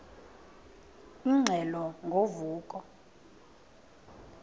ingxelo ngo vuko